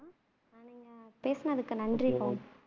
பேசுனதுக்கு நன்றி பவுன்